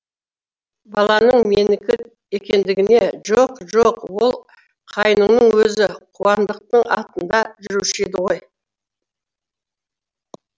баланың менікі екендігіне жоқ жоқ ол қайныңның өзі қуандықтың атында жүруші еді ғой